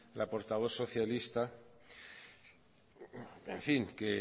la portavoz socialista en fin que